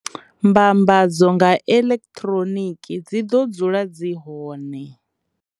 Mbambadzo nga eḽekithroniki dzi ḓo dzula dzi hone.